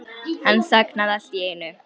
Hann þagnaði allt í einu.